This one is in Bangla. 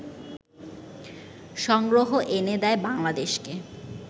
সংগ্রহ এনে দেয় বাংলাদেশকে